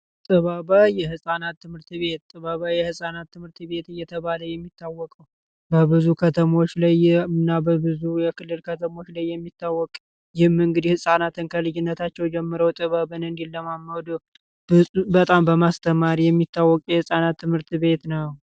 ጥበበ የህፃናት ትምህርት ቤት የተባሉ የህፃናት ትምህርት ቤት እየተባለ የሚታወቀው ከተሞች ላይ ምናበብ ብዙ የክልል ከተሞች ላይ የሚታወቀ የመንግዴ ህጻናት እንካ ልጅነታቸው ጀምሮ ጥበብ ለማማደሩ በጣም በማስተማሪ የሚታወቀ የህጻናት ትምህርት ቤት ነው